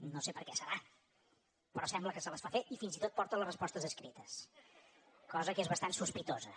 no sé per què serà però sembla que se les fa fer i fins i tot porta les respostes escrites cosa que és bastant sospitosa